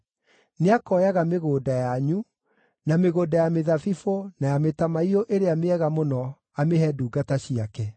Nĩakoyaga mĩgũnda yanyu, na mĩgũnda ya mĩthabibũ, na ya mĩtamaiyũ ĩrĩa mĩega mũno amĩhe ndungata ciake.